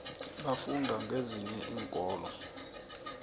bafunda kezinye iinkolo